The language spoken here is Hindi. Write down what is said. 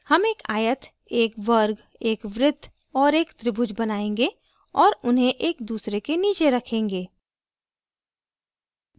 हम एक आयत एक वर्ग एक वृत्त और एक त्रिभुज बनायेंगे और उन्हें एक दूसरे के नीचे रखेंगे